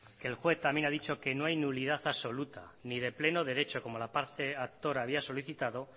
que el juez también ha dicho que no hay nulidad absoluta ni de pleno derecho como la parte actora había solicitado